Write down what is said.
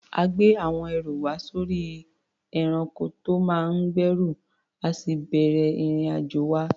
A gbé àwọn ẹrù wa sórí ẹranko tó máa ń gbẹ́rù, a sì bẹ̀rẹ̀ ìrìn-àjò wa.